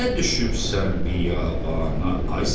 Nə düşübsən biyabana, ay Səfər?